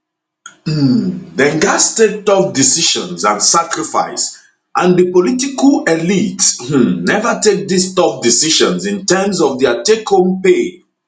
um dem gatz take tough decisions and sacrifice and di political elites um neva take dis tough decisions in terms of dia takehome pay